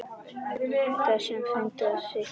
Þessum fundi er slitið.